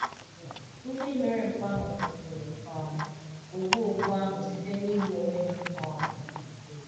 Ndị mere mpụ ahụ kwusiri um ogbu ogbu ahụ site n’igbu onwe ha. um